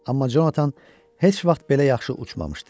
Amma Jonathan heç vaxt belə yaxşı uçmamışdı.